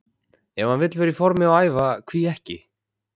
Ef hann vill vera í formi og æfa, hví ekki?